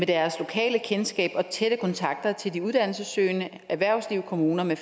deres lokale kendskab og tætte kontakter til de uddannelsessøgende erhvervslivet kommunerne